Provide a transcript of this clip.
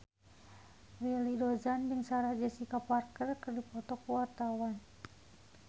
Willy Dozan jeung Sarah Jessica Parker keur dipoto ku wartawan